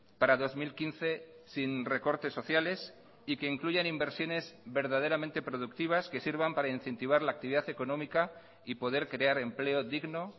para dos mil quince sin recortes sociales y que incluyan inversiones verdaderamente productivas que sirvan para incentivar la actividad económica y poder crear empleo digno